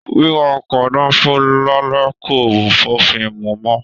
Wíwá ọkọ danfo l'alẹ ko b'ofin mú mọ.